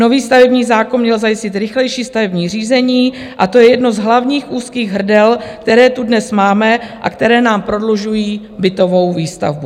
Nový stavební zákon měl zajistit rychlejší stavební řízení a to je jedno z hlavních úzkých hrdel, která tu dnes máme a která nám prodlužují bytovou výstavbu.